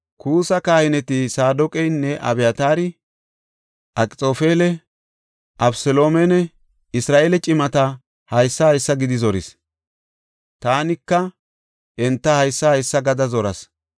Kuussi kahineta Saadoqanne Abyataara, “Akxoofeli Abeseloomenne Isra7eele cimata haysa haysa gidi zoris; taanika enta haysa haysa gada zoras.